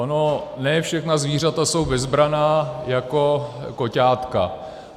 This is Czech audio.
Ono ne všechna zvířata jsou bezbranná jako koťátka.